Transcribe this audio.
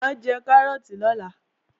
Mà á jẹ kárọ́ọ̀tì lọ́la